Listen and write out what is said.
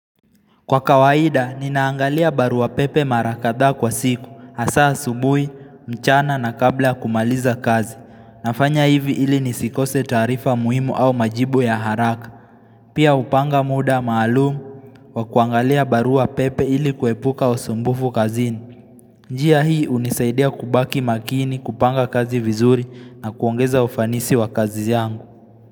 Kwa kawaida, ninaangalia barua pepe marakadha kwa siku, hasa asubui, mchana na kabla kumaliza kazi. Nafanya hivi ili nisikose taarifa muhimu au majibu ya haraka. Pia upanga muda maalumu wa kuangalia barua pepe ili kuepuka usumbufu kazini. Njia hii unisaidia kubaki makini kupanga kazi vizuri na kuongeza ufanisi wa kazi yangu.